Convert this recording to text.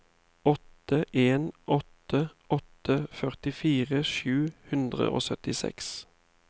åtte en åtte åtte førtifire sju hundre og syttiseks